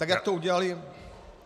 Tak jak to udělaly -